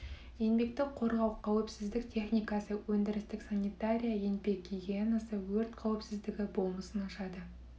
еңбекті қорғау қауіпсіздік техникасы өндірістік санитария еңбек гигиенасы өрт қауіпсіздігі болмысын ашады